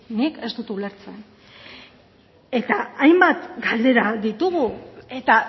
nik ez dut ulertzen eta hainbat galdera ditugu eta